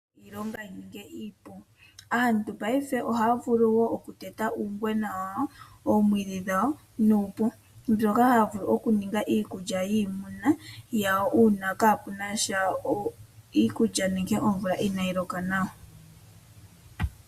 Aantu paife ohaya vulu okuteta uungwena wawo womwiidhi dhawo nuupu mbyoka hayavulu okuninga iikulya yiimuna yawo uuna kapunasha iikulya nenge omvula inayi loka nawa.